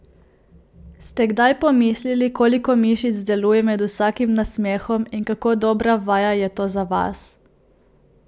Ste kdaj pomislili, koliko mišic deluje med vsakim nasmehom in kako dobra vaja je to za vas?